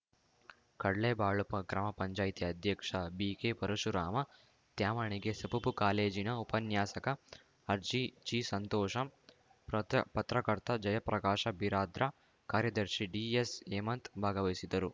ಕಡ್ಲೇಬಾಳು ಗ್ರಾಮ ಪಂಚಾಯತಿ ಅಧ್ಯಕ್ಷ ಬಿಕೆಪರಶುರಾಮ ತ್ಯಾವಣಿಗೆ ಸಪಪೂ ಕಾಲೇಜಿನ ಉಪನ್ಯಾಸಕ ಆರ್ಜಿಜಿಸಂತೋಷ ಪ್ರತ ಪತ್ರಕರ್ತ ಜಯಪ್ರಕಾಶ ಬಿರಾರ್ದಾ ಕಾರ್ಯದರ್ಶಿ ಡಿಎಸ್‌ಹೇಮಂತ್‌ ಭಾಗವಹಿಸಿದ್ದರು